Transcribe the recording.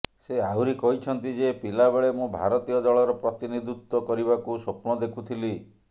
ସେ ଆହୁରି କହିଛନ୍ତି ଯେ ପିଲାବେଳେ ମୁଁ ଭାରତୀୟ ଦଳର ପ୍ରତିନିଧିତ୍ୱ କରିବାକୁ ସ୍ୱପ୍ନ ଦେଖୁଥିଲି